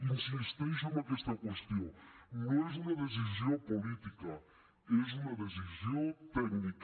insisteixo en aquesta qüestió no és una decisió política és una decisió tècnica